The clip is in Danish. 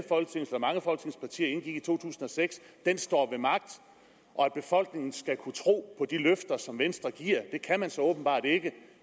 to tusind og seks står ved magt og at befolkningen skal kunne tro på de løfter som venstre giver men det kan man så åbenbart ikke